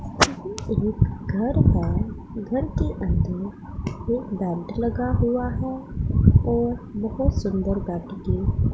एक घर है घर के अंदर एक बैड लगा हुआ हैं और बोहोत सुंदर बाटी के --